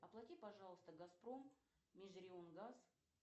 оплати пожалуйста газпром межрегионгаз